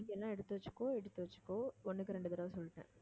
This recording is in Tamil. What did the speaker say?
மீதி எல்லாம் எடுத்து வச்சுக்கோ, எடுத்து வச்சுக்கோ ஒன்றுக்கு இரண்டு தடவை சொல்லிட்டேன்